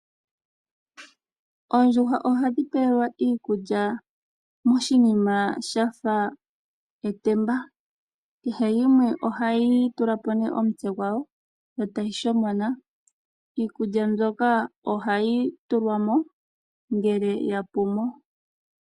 Oondjuhwa ohadhi pelwa iikulya moshinima shafa etemba, kehe yimwe ohayi tulapo nee omutse gwayo yo etayi shomona iikulya mbyoka ohayi tulwamo ngele ya pumo.